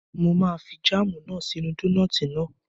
Mo máa fi jáàmù náà sí inú dónààtì náà